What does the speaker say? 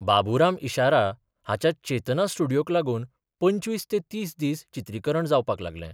बाबुराम इशारा हाच्या चेतना स्टुडियोक लागून पंचवीस ते तीस दीस चित्रीकरण जावपाक लागलें.